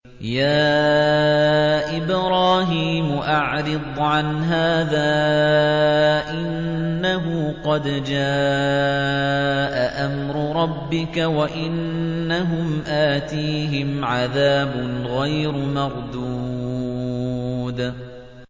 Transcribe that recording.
يَا إِبْرَاهِيمُ أَعْرِضْ عَنْ هَٰذَا ۖ إِنَّهُ قَدْ جَاءَ أَمْرُ رَبِّكَ ۖ وَإِنَّهُمْ آتِيهِمْ عَذَابٌ غَيْرُ مَرْدُودٍ